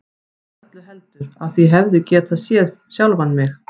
Eða öllu heldur: af því ég hefði getað séð sjálfan mig.